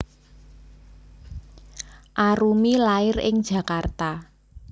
Arumi lair ing Jakarta